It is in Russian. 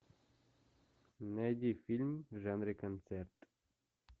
найди фильм в жанре концерт